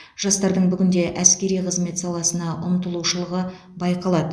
жастардың бүгінде әскери қызмет саласына ұмтылушылығы байқалады